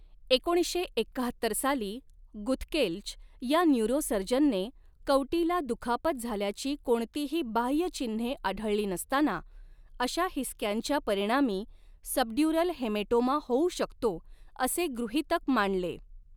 एकोणीसशे एक्काहत्तर साली गुथकेल्च या न्यूरोसर्जनने, कवटीला दुखापत झाल्याची कोणतीही बाह्य चिन्हे आढळली नसताना, अशा हिसक्यांच्या परिणामी सबड्यूरल हेमेटोमा होऊ शकतो असे गृहीतक मांडले.